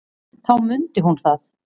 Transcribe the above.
Þá mundi hún það.